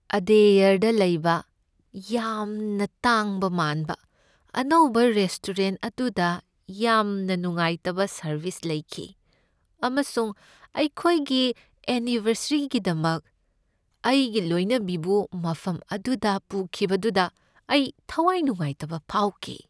ꯑꯗꯦꯌꯔꯗ ꯂꯩꯕ ꯌꯥꯝꯅ ꯇꯥꯡꯕ ꯃꯥꯟꯕ ꯑꯅꯧꯕ ꯔꯦꯁꯇꯣꯔꯦꯟꯠ ꯑꯗꯨꯗ ꯌꯥꯝꯅ ꯅꯨꯡꯉꯥꯏꯇꯕ ꯁꯔꯕꯤꯁ ꯂꯩꯈꯤ ꯑꯃꯁꯨꯡ ꯑꯩꯈꯣꯏꯒꯤ ꯑꯦꯅꯤꯕꯔꯁꯦꯔꯤꯒꯤꯗꯃꯛ ꯑꯩꯒꯤ ꯂꯣꯏꯅꯕꯤꯕꯨ ꯃꯐꯝ ꯑꯗꯨꯗ ꯄꯨꯈꯤꯕꯗꯨꯗ ꯑꯩ ꯊꯋꯥꯏ ꯅꯨꯡꯉꯥꯏꯇꯕ ꯐꯥꯎꯈꯤ꯫